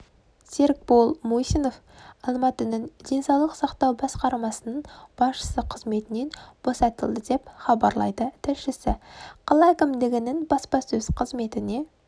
серікбол мусинов алматының денсаулық сақтау басқармасының басшысы қызметінен босатылды деп хабарлайды тілшісі қала әкімдігінің баспасөз қызметіне